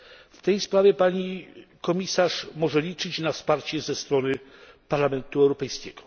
W tej sprawie pani Komisarz może liczyć na wsparcie ze strony Parlamentu Europejskiego.